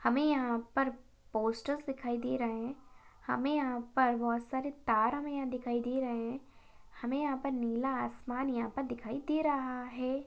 हमे यहाँ पर पोस्टर्स दिखाई दे रहे है। हमें यहाँ पर बहुत सारे तार हमे यहाँ दिखाई दे रहे है। हमें यहाँ पर नीला आसमान यहाँ पर पर दिखाई दे रहा है।